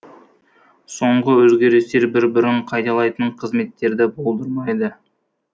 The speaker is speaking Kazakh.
соңғы өзгерістер бір бірін қайталайтын қызметтерді болдырмайды